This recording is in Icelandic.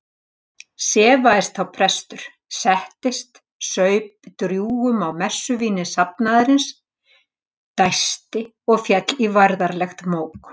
Sefaðist þá prestur, settist, saup drjúgum á messuvíni safnaðarins, dæsti og féll í værðarlegt mók.